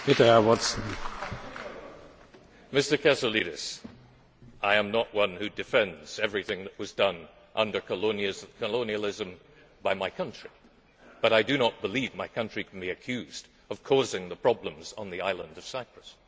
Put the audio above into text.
Mr Kasoulides, I am not one who defends everything that was done under colonialism by my country but I do not believe my country can be accused of causing the problems on the island of Cyprus.